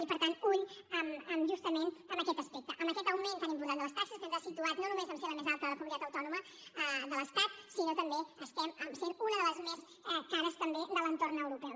i per tant alerta amb justament aquest aspecte amb aquest augment tan important de les taxes que ens ha situat no només a ser la més alta de les comunitats autònomes de l’estat sinó que també estem sent una de les més cares de l’entorn europeu